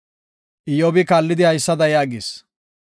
Iyyobi kaallidi haysada yaagis;